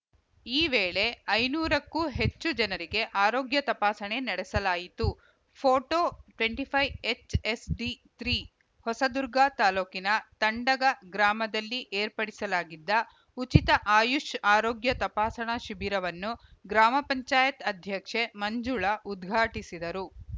ಈ ವೇಳೆ ಐನೂರಕ್ಕೂ ಹೆಚ್ಚು ಜನರಿಗೆ ಆರೋಗ್ಯ ತಪಾಸಣೆ ನಡೆಸಲಾಯಿತು photo twenty five HSD three Hosadurga ತಾಲೂಕಿನ ತಂಡಗ ಗ್ರಾಮದಲ್ಲಿ ಏರ್ಪಡಿಸಲಾಗಿದ್ದ ಉಚಿತ ಆಯುಷ್‌ ಆರೋಗ್ಯ ತಪಾಸಣಾ ಶಿಬಿರವನ್ನು ಗ್ರಾಮ ಪಂಚಾಯತ್ ಅಧ್ಯಕ್ಷೆ ಮಂಜುಳಾ ಉದ್ಘಾಟಿಸಿದರು